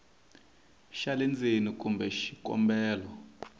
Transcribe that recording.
xa le ndzeni kumbe xikombelo